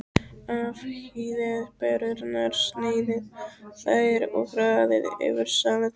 Afhýðið perurnar, sneiðið þær og raðið yfir salatið.